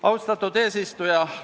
Austatud eesistuja!